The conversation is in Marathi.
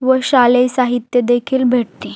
व शालेय साहित्य देखील भेटते.